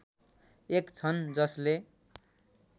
एक छन् जसले